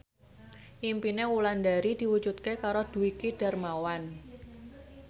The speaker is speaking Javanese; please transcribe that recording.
impine Wulandari diwujudke karo Dwiki Darmawan